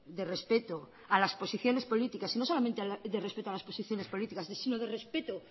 de respeto a las posiciones políticas y no solamente de respeto a las posiciones políticas sino de respeto